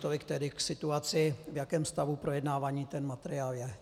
Tolik tedy k situaci, v jakém stavu projednávání ten materiál je.